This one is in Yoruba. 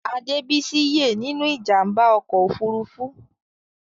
Adebisi ye nínú ìjàmbá ọkọ òfurufú.